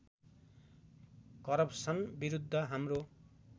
corruption विरुद्ध हाम्रो